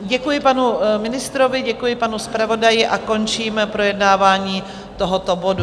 Děkuji panu ministrovi, děkuji panu zpravodaji a končím projednávání tohoto bodu.